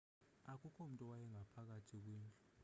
akukho mntu owayengaphakathi kwindlu